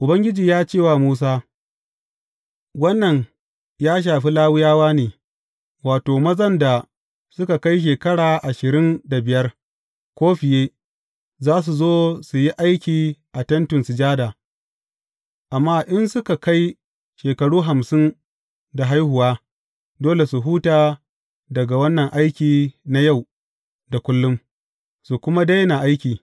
Ubangiji ya ce wa Musa, Wannan ya shafi Lawiyawa ne, wato, mazan da suka kai shekara ashirin da biyar, ko fiye, za su zo su yi aiki a Tentin Sujada, amma in suka kai shekaru hamsin da haihuwa, dole su huta daga wannan aiki na yau da kullum, su kuma daina aiki.